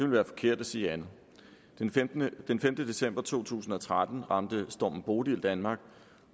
være forkert at sige andet den femte december to tusind og tretten ramte stormen bodil danmark